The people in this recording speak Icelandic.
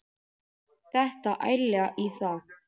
Detta ærlega í það.